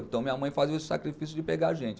Então minha mãe fazia o sacrifício de pegar a gente.